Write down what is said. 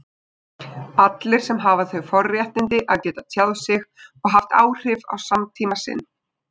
allir sem hafa þau forréttindi að geta tjáð sig og haft áhrif á samtíma sinn.